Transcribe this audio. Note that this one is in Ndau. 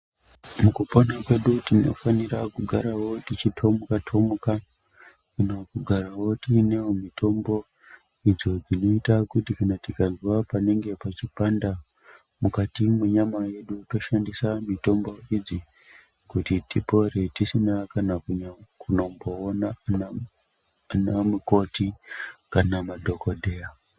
Mukupona kwedu tinofanira kugarawo techitomuka- tomuka nokugarawo tinewo mitombo idzo dzinoita kuti kana tikazwe panenge pachipanda mukati mwenyama yedu toshandisa mitombo idzi kuti tipore tisina kana kunomboona anamukoti kana madhokodheya.